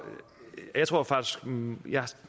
jeg tror faktisk og jeg